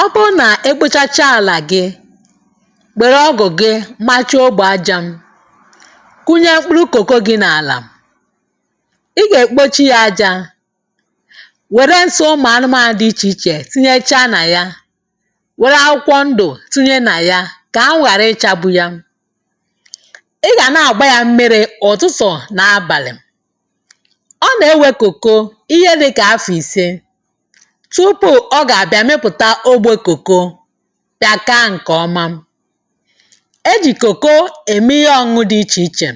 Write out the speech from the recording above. Ọ bụrụ na ị kpụchachaa ala gị, were ọgụ gị machaa ogbo aja, kụnye mkpụrụ cocoa gị n’ala, ị ga-ekpochi ya aja, were nsị ụmụ anụmanụ iche iche tinyechaa na ya, were akwụkwọ ndụ tinye na ya ka anwụ ghara ịchagbu ya. Ị ga na-agba ya mmiri ụtụtụ na abalị. Ọ na-ewe cocoa ihe dị ka afọ ise tupu ọ ga abịa mịpụta ogbe cocoa, bịa kaa nke ọma. E ji cocoa eme ihe ọṅụṅụ dị iche iche,